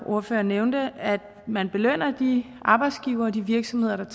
ordfører nævnte at man belønner de arbejdsgivere og de virksomheder der